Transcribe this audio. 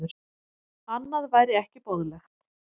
Annað væri ekki boðlegt